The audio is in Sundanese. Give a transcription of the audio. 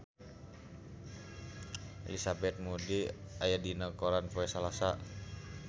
Elizabeth Moody aya dina koran poe Salasa